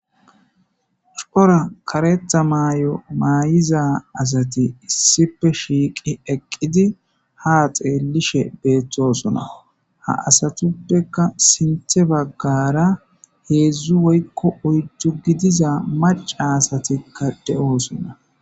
Suphora karetha may'o maay'iza asati issipe shiiqi eqqidi ha xeellishe beeththosona ha asatuppekka sinthe baggara heedzu woyikko oydu gidiza maca asati kade'oosonna